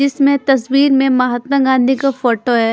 इसमें तस्वीर में महात्मा गांधी का फोटो है।